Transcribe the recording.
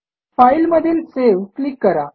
file मधील save click करा